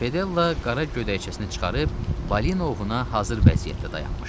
Fedella qara gödəkcəsini çıxarıb balina ovuna hazır vəziyyətdə dayanmışdı.